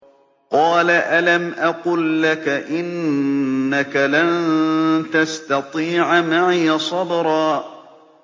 ۞ قَالَ أَلَمْ أَقُل لَّكَ إِنَّكَ لَن تَسْتَطِيعَ مَعِيَ صَبْرًا